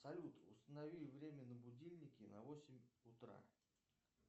салют установи время на будильнике на восемь утра